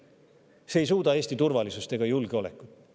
See ei Eesti turvalisust ega julgeolekut.